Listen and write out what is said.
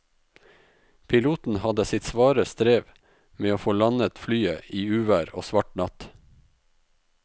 Piloten hadde sitt svare strev med å få landet flyet i uvær og svart natt.